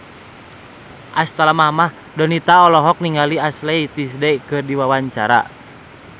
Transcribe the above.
Donita olohok ningali Ashley Tisdale keur diwawancara